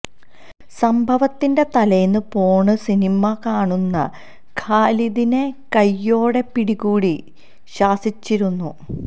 സംഭവത്തിന്റെ തലേന്ന് porn cinema കാണുന്ന ഖാലിധിനെ കൈയ്യോടെ പിടികൂടി ശാസിച്ചിരുന്നു